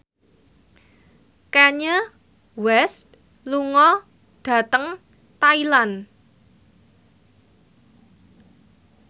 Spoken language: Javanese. Kanye West lunga dhateng Thailand